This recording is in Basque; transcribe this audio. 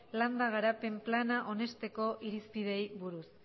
landa garapen plana onesteko irizpideei buruz